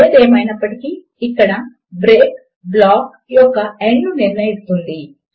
ఏది ఏమైనప్పటికీ ఇక్కడ బ్రేక్ బ్లాక్ యొక్క ఎండ్ ను నిర్ణయిస్తుంది